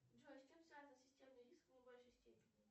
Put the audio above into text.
джой с чем связан системный риск в наибольшей степени